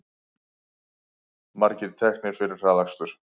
Margir teknir fyrir hraðakstur